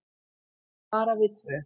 """Já, bara við tvö."""